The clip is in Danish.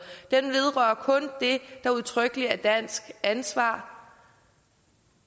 den vedrører kun det der udtrykkeligt er dansk ansvar